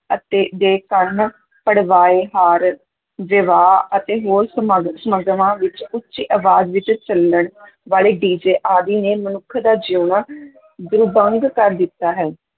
ਅਤੇ ਦੇ ਕੰਨ ਪੜਵਾਏ, ਹਾਰ, ਵਿਵਾਹ ਅਤੇ ਹੋਰ ਸਮਾਗ ਸਮਾਗਮਾਂ ਵਿੱਚ ਉੱਚੀ ਅਵਾਜ਼ ਵਿੱਚ ਚੱਲਣ ਵਾਲੇ DJ ਆਦਿ ਨੇ ਮਨੁੱਖ ਦਾ ਜਿਉਣਾ ਦੁਰਭੰਗ ਕਰ ਦਿੱਤਾ ਹੈ।